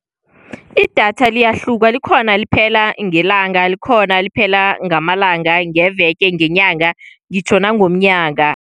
Idatha liyahluka likhona eliphela ngelanga, likhona eliphela ngamalanga, ngeveke ngenyanga, ngitjho nangomnyaka.